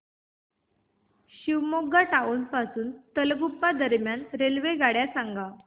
Shivamogga town पासून तलगुप्पा दरम्यान रेल्वेगाड्या सांगा